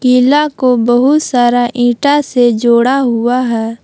किला को बहुत सारा ईटा से जोड़ा हुआ है।